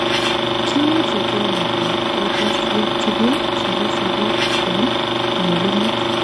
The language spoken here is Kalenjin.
Kimuche kenya en ekosiek tugul chebo sobet yon nyolunot.